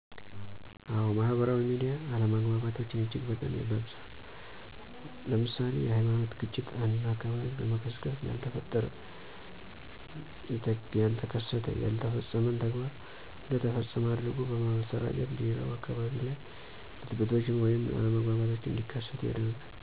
አዎ ማህበራዊ ሚዲያ አለመግባባቶችን እጅግ በጣም ያባብሳል። ለምሳሌ፦ የሀይማኖት ግጭት አንድን አካባቢ በመጥቀስ ያልተፈጠረ፣ ያተከሰተ፣ ያልተፈፀመን ተግባር እንደ ተፈፀመ አድርጎ በማሰራጨት ሌላው አካባቢ ላይ ብጥብጦች ወይንም አለመግባባቶች እንዲከሰቱ ያደርጋል።